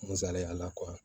N salenya